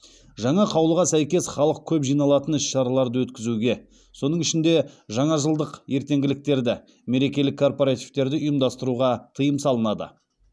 жаңа қаулыға сәйкес халық көп жиналатын іс шараларды өткізуге соның ішінде жаңажылдық ертеңгіліктерді мерекелік корпоративтерді ұйымдастыруға тыйым салынады